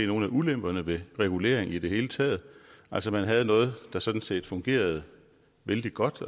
nogle af ulemperne ved regulering i det hele taget altså man havde noget der sådan set fungerede vældig godt